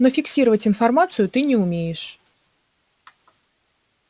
но фиксировать информацию ты не умеешь